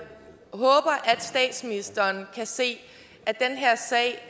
statsministeren kan se at den her sag